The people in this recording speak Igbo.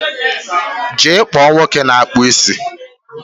jee kpọọ nwoke na-akpụ isi!